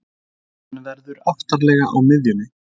Hann verður aftarlega á miðjunni.